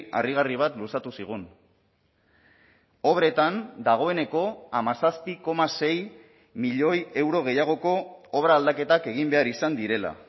harrigarri bat luzatu zigun obretan dagoeneko hamazazpi koma sei milioi euro gehiagoko obra aldaketak egin behar izan direla